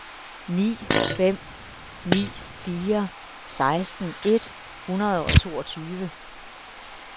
ni fem ni fire seksten et hundrede og toogtyve